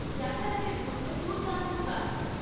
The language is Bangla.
যাতায়াতের জন্য দুর্দান্ত গান